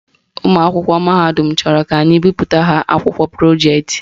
Ụmụakwụkwọ mahadum chọrọ ka anyị bipụtara ha akwụkwọ projeetị